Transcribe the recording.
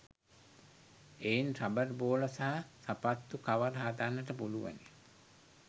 එයින් රබර් බෝල සහ සපත්තු කවර හදන්ට පුළුවනි.